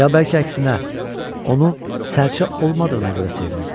Ya bəlkə əksinə, onu sərçə olmadığına görə sevmirirdi.